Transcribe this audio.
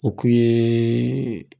O kun ye